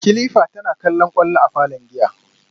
kilifa tana kallon kwallo a falon giya